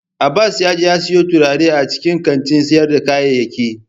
Abbas yaje ya siyo turare a cikin kantin sayar da kayayyaki.